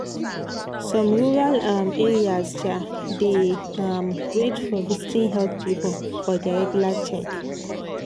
some rural um areas um dey um wait for visiting health people for their regular check.